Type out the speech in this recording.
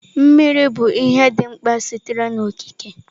Mmiri bụ ihe dị mkpa sitere n'okike.